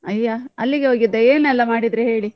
ಅಯ್ಯ ಅಲ್ಲಿಗೆ ಹೋಗಿದ್ದ, ಏನೆಲ್ಲಾ ಮಾಡಿದ್ರೀ ಹೇಳಿ?